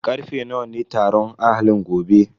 Karfe nawa ne taron ahalin gobe?